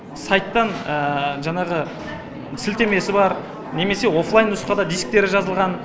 сайттан жаңағы сілтемесі бар немесе оффлайн нұсқада дисктері жазылған